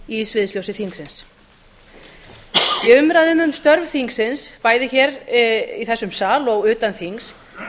í sviðsljósi þingsins í umræðunni um störf þingsins bæði í þessum sal sem og utan þings